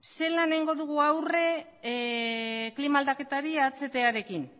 zelan egingo dugu aurre klima aldaketari ahtarekin